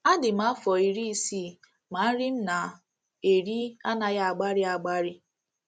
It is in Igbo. Adị m afọ iri isii ma nri m na - eri anaghị agbari agbari.